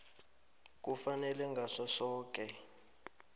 kufanele ngaso soke